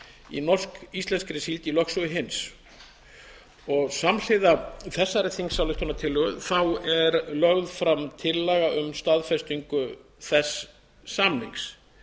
í norsk íslenskri síld í lögsögu hins samhliða þingsályktunartillögu þessari er lögð fram tillaga um staðfestingu þess samnings